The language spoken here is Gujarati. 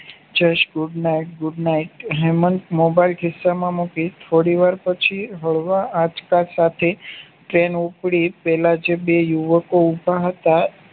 જશ good night હેમન્ત મોબાઈલ ખિસ્સા માં મૂકી થોડીવાર પછી હળવા આંચકા સાથે ટ્રેન ઉપાડી પેલા જે બે યુવકો ઉભા હતા